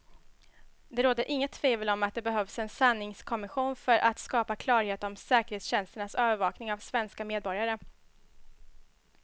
Det råder inget tvivel om att det behövs en sanningskommission för att skapa klarhet om säkerhetstjänsternas övervakning av svenska medborgare.